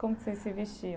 Como que vocês se vestiam?